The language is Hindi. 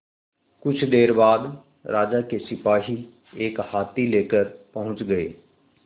कुछ देर बाद राजा के सिपाही एक हाथी लेकर पहुंच गए